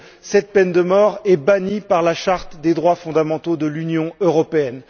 Cette peine de mort est en effet bannie par la Charte des droits fondamentaux de l'Union européenne.